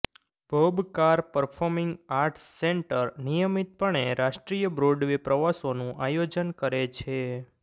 Bob Carr performing arts centre નિયમિતપણે રાષ્ટ્રીય Broadway પ્રવાસોનું આયોજન કરે છે